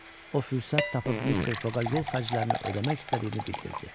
O fürsət tapıb Mister Foqa yol xərclərini ödəmək istədiyini bildirdi.